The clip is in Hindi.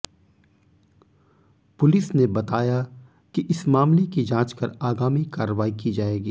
पुलिस ने बताया कि इस मामले की जांच कर आगामी कार्रवाई की जाएगी